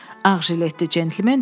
Ağjiletli centlmen dedi: